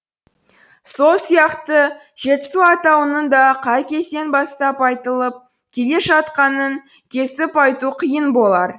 сол сияқты жетісу атауының да қай кезден бастап айтылып келе жатқанын кесіп айту қиын болар